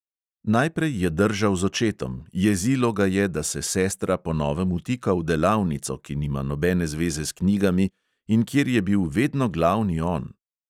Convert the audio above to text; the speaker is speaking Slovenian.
Najprej je držal z očetom, jezilo ga je, da se sestra po novem vtika v delavnico, ki nima nobene zveze s knjigami in kjer je bil vedno glavni on.